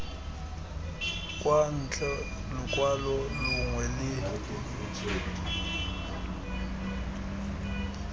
kwa ntle lokwalo longwe le